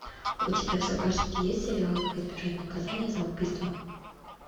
у тебя в загашнике есть сериал как избежать наказания за убийство